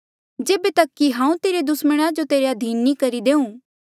जेबे तक कि हांऊँ तेरे दुस्मणा जो तेरे अधीन नी करी लेऊँ